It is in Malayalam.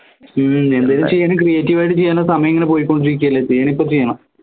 ഹും എന്തേലും ചെയ്യണേ creative ആയിട്ട് ചെയ്യാൻ സമയം ഇങ്ങനെ പോയിക്കൊണ്ടിരിക്കയല്ലേ ചെയ്യണ